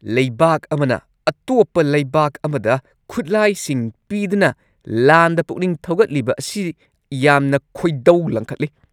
ꯂꯩꯕꯥꯛ ꯑꯃꯅ ꯑꯇꯣꯞꯄ ꯂꯩꯕꯥꯛ ꯑꯃꯗ ꯈꯨꯠꯂꯥꯏꯁꯤꯡ ꯄꯤꯗꯨꯅ ꯂꯥꯟꯗ ꯄꯨꯛꯅꯤꯡ ꯊꯧꯒꯠꯂꯤꯕ ꯑꯁꯤ ꯌꯥꯝꯅ ꯈꯣꯏꯗꯧ ꯂꯪꯈꯠꯂꯤ ꯫